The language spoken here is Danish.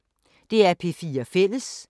DR P4 Fælles